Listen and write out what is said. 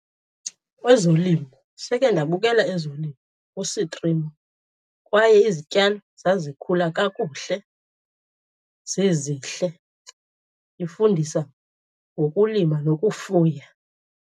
Ezolimo. Seke ndabukela ezolimo kusitrimo kwaye izityalo zazikhula kakuhle, zizihle. Ifundisa ngokulima nokufuya.